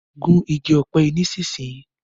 Gún ìgi òpe yí nísìsiyìí!